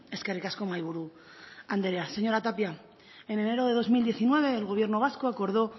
eskerrik asko mahaiburu anderea señora tapia en enero de dos mil diecinueve el gobierno vasco acordó